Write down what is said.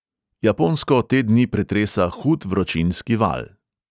Japonsko te dni pretresa hud vročinski val.